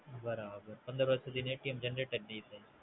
બરાબર. પંદર વરસ સુધી નું Generate જ નઈ થાય